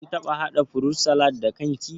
Kin taɓa haɗa furut salad da kan ki?